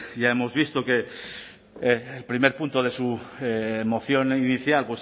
ya hemos visto que el primer punto de su moción inicial